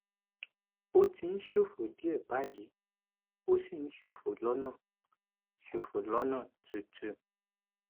ó ti ń ṣòfò díẹ báyìí ó sì ń ṣòfò lọnà ṣòfò lọnà tútù